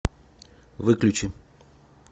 выключи